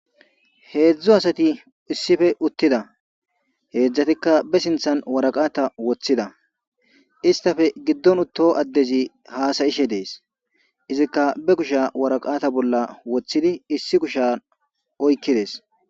heedzdzu asati issife uttida heedzdzatikka be sinthan waraqata woththida istafe giddon utto addezi haasayishe dees izikka be kusha waraqata bolla woththidi issi kusha oykkides